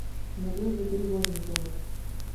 надежда перевозникова